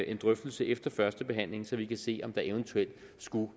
en drøftelse efter førstebehandlingen så vi kan se om der eventuelt skulle